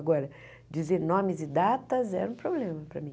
Agora, dizer nomes e datas era um problema para mim.